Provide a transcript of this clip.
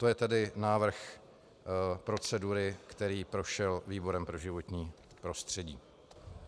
To je tedy návrh procedury, který prošel výborem pro životní prostředí.